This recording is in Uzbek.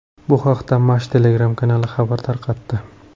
Bu haqda Mash Telegram-kanali xabar tarqatdi.